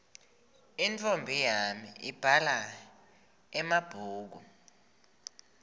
intfombi yami ibhala emabhulu